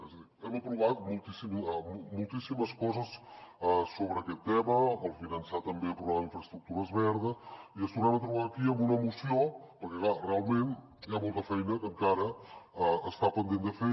és a dir hem aprovat moltíssimes coses sobre aquest tema el finançar també el programa d’infraestructura verda i ens tornem a trobar aquí amb una moció perquè clar realment hi ha molta feina que encara està pendent de fer